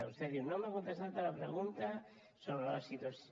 vostè diu no m’ha contestat a la pregunta sobre la situació